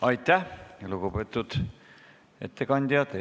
Aitäh, lugupeetud ettekandja!